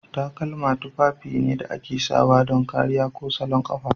Takalma tufafi ne da ake sawa don kariya ko salon kafa.